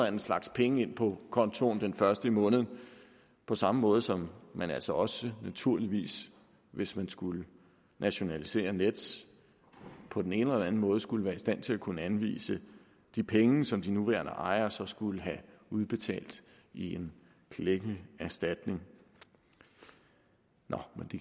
anden slags penge ind på kontoen den første i måneden på samme måde som man altså også naturligvis hvis man skulle nationalisere nets på den ene eller den anden måde skulle være i stand til at kunne anvise de penge som de nuværende ejere så skulle have udbetalt i en klækkelig erstatning nå